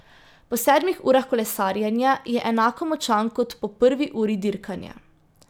Po sedmih urah kolesarjenja je enako močan kot po prvi uri dirkanja.